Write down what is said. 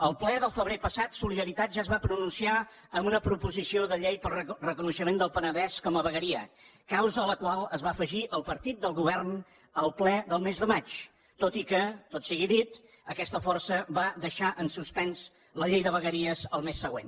al ple del febrer passat solidaritat ja es va pronunciar en una proposició de llei pel reconeixement del penedès com a vegueria causa a la qual es va afegir el partit del govern al ple del mes de maig tot i que tot sigui dit aquesta força va deixar en suspens la llei de vegueries el mes següent